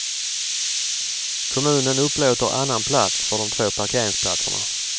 Kommunen upplåter annan plats för de två parkeringsplatserna.